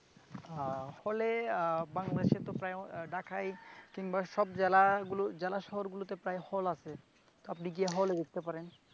আহ আহ হলে আহ বাংলাদেশেতো ঢাকায় কিংবা সব জেলায় জেলা শহরগুলোতে প্রায় হল আছে। আপনি গিয়ে হলে দেখেতে পারেন।